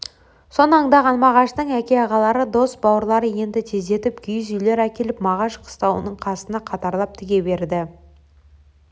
соны аңдаған мағаштың әке ағалары дос бауырлары енді тездетіп киіз үйлер әкеліп мағаш қыстауының қасына қатарлап тіге берді